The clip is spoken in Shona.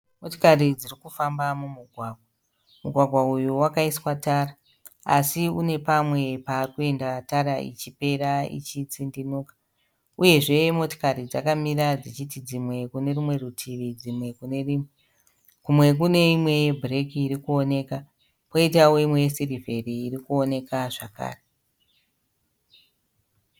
Motikari dziri kufamba mumugwagwa. Mugwagwa uyu wakaiswa tara asi une pamwe pava kuenda tara ichipera ichitsindimuka. Uyezve motikari dzakamira dzichichiti dzimwe kune rumwe rutivi dzimwe kure rimwe. Kumwe kune imwe yebhureki iri kuoneka kwoitawo imwe yesirivheri iri kuoneka zvakare.